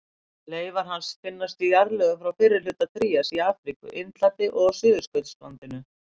Leifar hans finnast í jarðlögum frá fyrri hluta trías í Afríku, Indlandi og á Suðurskautslandinu.